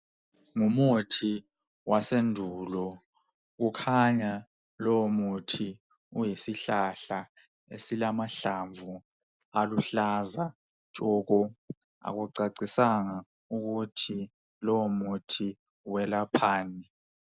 Ngumuthi wasendulo ,kukhanya lowo muthi uyisihlahla esilamahlamvu aluhlaza tshoko. Akucacisanga ukuthi lowo muthi welaphani.